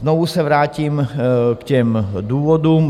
Znovu se vrátím k těm důvodům.